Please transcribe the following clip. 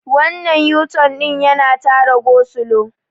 wannan yuton din yana Tara gosulo